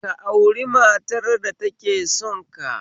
Ka auri matar da take sonka